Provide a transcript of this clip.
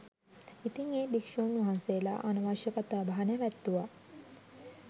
ඉතින් ඒ භික්ෂූන් වහන්සේලා අනවශ්‍ය කතා බහ නැවැත්තුවා